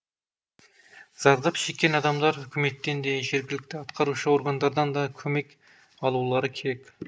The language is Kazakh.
зардап шеккен адамдар үкіметтен де жергілікті атқарушы органдардан да көмек алулары керек